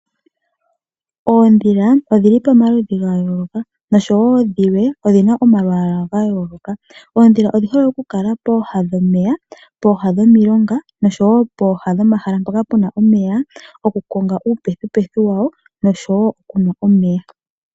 Oodhili odhi li pomaluudhi gaayoloka nosho woo dhilwe odhi na omalwaala ga yooloka. Oodhila odhi hole oku kala pooha dhomeya, pooha dhomilonga nosho woo pooha dhomahala mpoka pena omeya, oku konga uupethipethi wawo nosho woo oku nwa omeya.